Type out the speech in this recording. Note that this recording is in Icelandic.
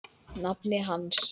nafni hans.